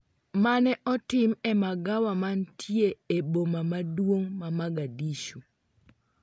mane otim e magawa manitie e e boma maduong' ma Mogadishu